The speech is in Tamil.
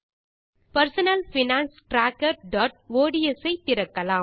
personal finance trackerஒட்ஸ் ஐ திறக்கலாம்